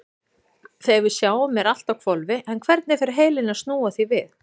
Þegar við sjáum er allt á hvolfi en hvernig fer heilinn að snúa því við?